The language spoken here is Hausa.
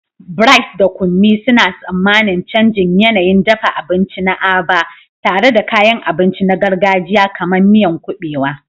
Bright da Kunmi suna tsammanin canjin yanayin dafa abinci na Aba, tare da kayan abinci na gargajiya kamar miyan kubewa.